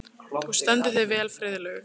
Þú stendur þig vel, Friðlaug!